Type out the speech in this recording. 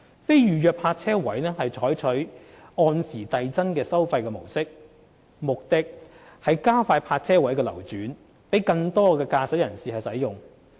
非預約泊車位將採納按時遞增收費的模式，目的是加快泊車位的流轉，供更多駕駛人士使用。